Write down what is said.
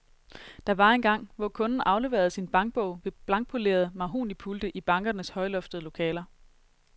Der var engang, hvor kunden afleverede sin bankbog ved blankpolerede mahognipulte i bankernes højloftede lokaler.